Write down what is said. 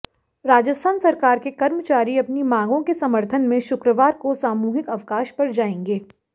राजस्थान सरकार के कर्मचारी अपनी मांगों के समर्थन में शुक्रवार को सामूहिक अवकाश पर जाएंगे